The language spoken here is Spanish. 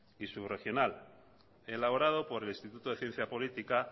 y subregional elaborado por el instituto de ciencia política